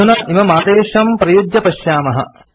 अधुना इममादेशं प्रयुज्य पश्यामः